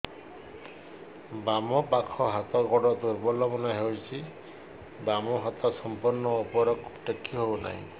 ବାମ ପାଖ ହାତ ଗୋଡ ଦୁର୍ବଳ ମନେ ହଉଛି ବାମ ହାତ ସମ୍ପୂର୍ଣ ଉପରକୁ ଟେକି ହଉ ନାହିଁ